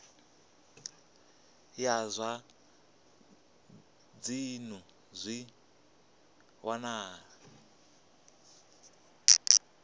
ya zwa dzinnu zwi wanala